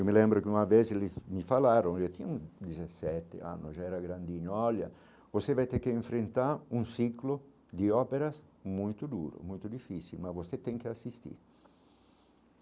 Eu me lembro que uma vez eles me falaram, eu tinha hum dezessete anos, já era grandinho, olha, você vai ter que enfrentar um ciclo de óperas muito duro, muito difícil, mas você tem que assistir.